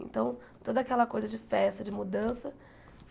Então, toda aquela coisa de festa, de mudança.